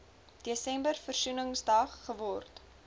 desember versoeningsdag geword